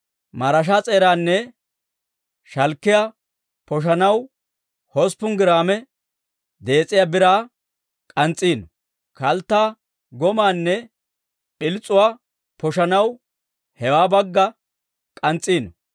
Maraashaa s'eeraanne shalkkiyaa poshissanaw hosppun giraame dees'iyaa biraa k'ans's'iino; kalttaa, gomaanne p'ils's'uwaa poshissanaw hewoo bagga k'ans's'iino.